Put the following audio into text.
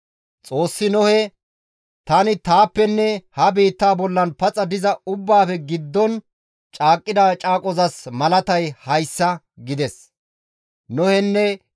Xoossi Nohe, «Tani taappenne ha biitta bollan paxa diza ubbaafe giddon caaqqida caaqozas malatay hayssa» gides.